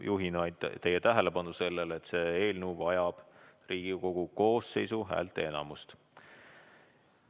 Juhin teie tähelepanu vaid sellele, et see eelnõu vajab seadusena vastuvõtmiseks Riigikogu koosseisu häälteenamust.